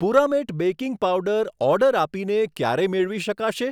પુરામેટ baking powder order આપીને ક્યારે મેળવી શકાશે?